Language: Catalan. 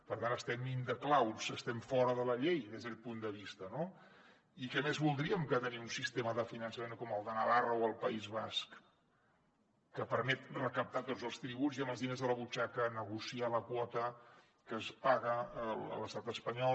per tant estem in the clouds estem fora de la llei des d’aquest punt de vista no i què més voldríem que tenir un sistema de finançament com el de navarra o el país basc que permet recaptar tots els tributs i amb els diners a la butxaca negociar la quota que es paga a l’estat espanyol